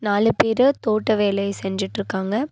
நாலு பேரு தோட்ட வேலைய செஞ்சிட்ருக்காங்க.